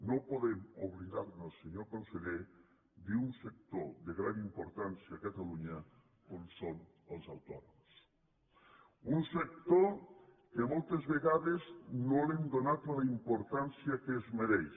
no podem oblidar nos senyor conseller d’un sector de gran importància a catalunya com són els autònoms un sector que moltes vegades no li hem donat la importància que es mereix